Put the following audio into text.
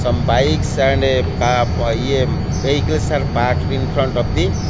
some bikes and ca ye vehicles are parked in front of the --